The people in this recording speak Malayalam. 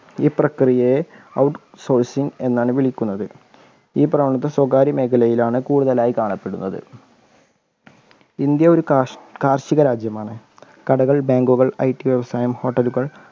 ഈ പ്രക്രിയയെ out sourcing എന്നാണ് വിളിക്കുന്നത്. ഈ പ്രവണത സ്വകാര്യമേഖലയിലാണ് കൂടുതലായി കാണപ്പെടുന്നത്. ഇന്ത്യ ഒരു കാർഷിക രാജ്യമാണ് കടകൾ, bank കൾ IT വ്യവസായങ്ങൾ hotel കൾ